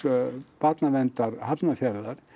barnaverndar Hafnarfjarðar